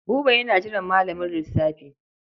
Buba yana jiran malamin lissafi.